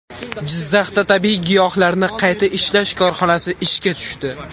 Jizzaxda tabiiy giyohlarni qayta ishlash korxonasi ishga tushdi.